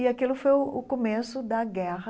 E aquilo foi o o começo da guerra